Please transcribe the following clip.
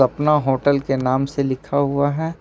पना होटल के नाम से लिखा हुआ है।